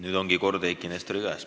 Nüüd ongi kord Eiki Nestori käes.